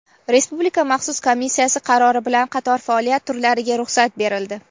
Respublika maxsus komissiyasi qarori bilan qator faoliyat turlariga ruxsat berildi.